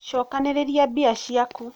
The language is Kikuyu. cokanĩrĩria mbia ciaku